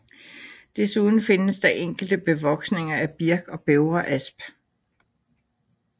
Desuden findes der enkelte bevoksninger af birk og bævreasp